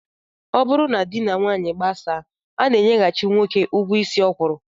Ọ bụrụ na di na nwaanyị gbasaa, a na-enyeghachị nwoke ụgwọ isi ọ kwụrụ